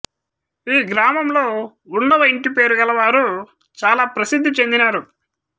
ఈ గ్రామంలో ఉన్నవ ఇంటిపేరు గలవారు చాలా ప్రసిద్ధి చెందినారు